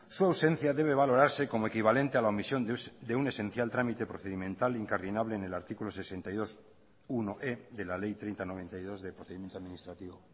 su ausencia debe valorarse como equivalente a la omisión de un esencial trámite procedimental incardinable en el artículo sesenta y dos punto unoe de la ley treinta barra noventa y dos de procedimiento administrativo